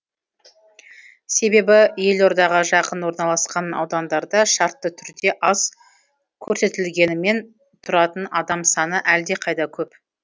себебі елордаға жақын орналасқан аудандарда шартты түрде аз көрсетілгенімен тұратын адам саны әлдеқайда көп